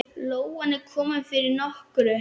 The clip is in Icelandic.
Lóan er komin fyrir nokkru.